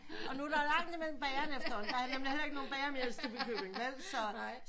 Og nu er der lang imellem bagerne efterhånden der er nemlig heller ikke nogen bager mere i Stubbekøbing vel så